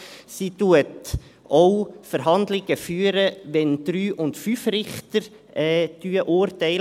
Sie führt auch Verhandlungen, wenn 3 und 5 Richter urteilen.